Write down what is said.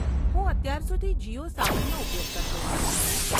હું અત્યાર સુધી જીઓ સાવનનો ઉપયોગ કરતો હતો.